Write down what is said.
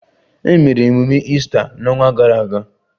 Emere emume Easter n'ọnwa gara aga